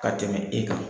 Ka tɛmɛ e kan